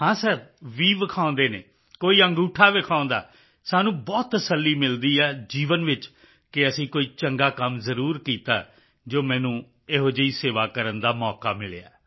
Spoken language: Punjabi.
ਹਾਂ ਸਰ ਵ ਵਿਖਾਉਂਦੇ ਹਨ ਕੋਈ ਅੰਗੂਠਾ ਵਿਖਾਉਂਦਾ ਹੈ ਸਾਨੂੰ ਬਹੁਤ ਤਸੱਲੀ ਮਿਲਦੀ ਹੈ ਜੀਵਨ ਵਿੱਚ ਕਿ ਅਸੀਂ ਕੋਈ ਚੰਗਾ ਕੰਮ ਜ਼ਰੂਰ ਕੀਤਾ ਹੈ ਜੋ ਮੈਨੂੰ ਅਜਿਹੀ ਸੇਵਾ ਕਰਨ ਦਾ ਮੌਕਾ ਮਿਲਿਆ